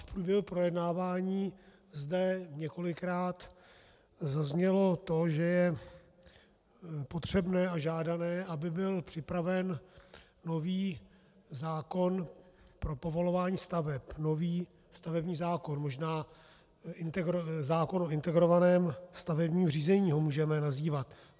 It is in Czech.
V průběhu projednávání zde několikrát zaznělo to, že je potřebné a žádané, aby byl připraven nový zákon pro povolování staveb, nový stavební zákon, možná zákonem o integrovaném stavebním řízení ho můžeme nazývat.